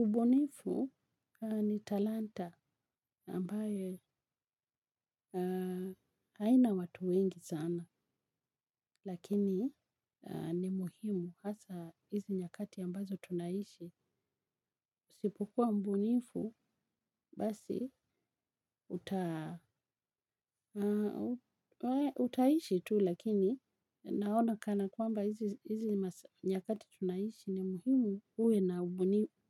Ubunifu ni talanta ambaye haina watu wengi sana lakini ni muhimu hasa hizi nyakati ambazo tunaishi. Sipokua mbunifu basi utaishi tu lakini naona kana kwamba hizi nyakati tunaishi ni muhimu uwe na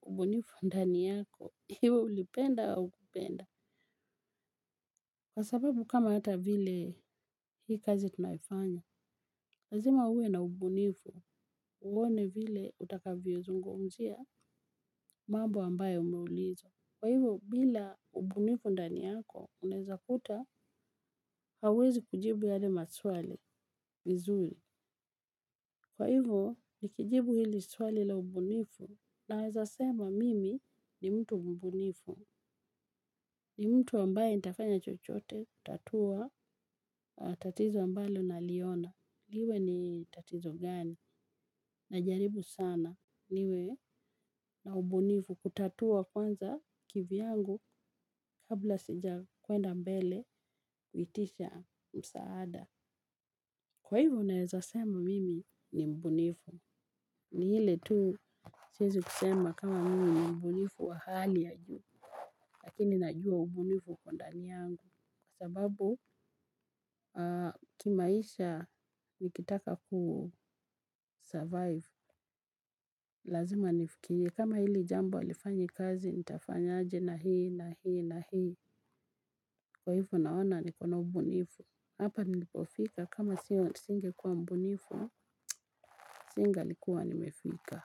ubunifu ndani yako. Iwe ulipenda au ukupenda. Kwa sababu kama hata vile hii kazi tunaifanya, lazima uwe na ubunifu uone vile utakavyo zungumzia mambo ambaye unaulizwa. Kwa hivyo, bila ubunifu ndaniyako, unaeza kuta, hauwezi kujibu yale maswali vizuli. Kwa hivyo, nikijibu hili swali la ubunifu naezasema mimi ni mtu mbunifu. Ni mtu ambaye nitafanya chochote, kutatuwa, tatizo ambalo naliona. Liwe ni tatizo gani na jaribu sana niwe na mbunifu kutatua kwanza kivyangu kabla sija kuenda mbele kuitisha msaada. Kwa hivo naweza sema mimi ni mbunifu. Ni ile tu siezi kusema kama mimi ni mbunifu wa hali ya juu. Lakini najua ubunifu ukondani yangu. Sababu kimaisha nikitaka kusurvive lazima nifikirie kama hili jambo halifanyi kazi nitafanyaje na hii na hii na hii. Kwa hivyo naona nikona ubunifu. Hapa nilipofika kama sio singe kuwa mbunifu singa likuwa nimefika.